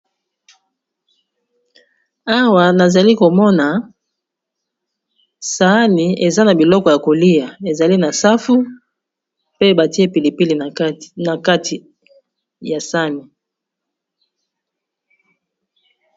Awa nazali komona sahani eza na biloko ya kolia ezali na safu pe batie pilipili na kati ya sahani.